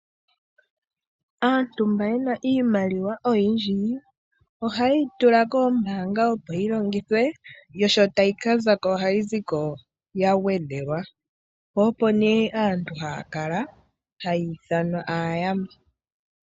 Aantu mba yena iimaliwa oyindji ohaye yi tula koombanga opo yi longithwe. Yo sho tayi ka zako ohayi ziko ya gwedhelwa. Po opo nee aantu haya kala haya ithanwa aayamba.